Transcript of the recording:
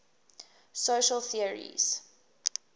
social theories